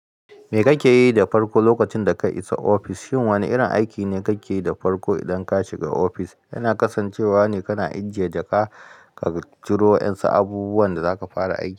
Me kake yi da farko lokacin da ka isa ofis? Shin wane irin aiki ne kake yi da farko idan ka shiga ofis? Yana kasancewa ne kana ajiye jaka, ka ciro yansa abubuwan da zaka fara aiki.